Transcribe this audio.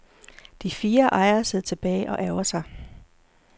De fire ejere sidder tilbage og ærgrer sig.